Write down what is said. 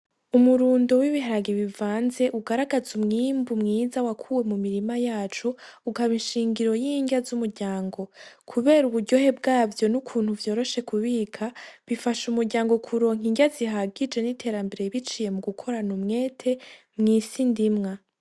Umurundo w'ibiharage bivanze ugaragaza umwimbu mwiza wakuwe mu mirima yacu ukaba ishingiro y'irya z'umuryango, kubera uburyohe bwavyo n'ukuntu vyoroshe kubika bifasha umuryango kuronka irya zihagije biciye mu gukorana umwete mw'isi ndimwa.